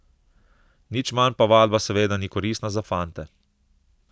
Nič manj pa vadba seveda ni koristna za fante.